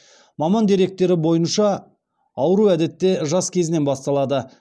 маман деректері бойынша ауру әдетте жас кезінен басталады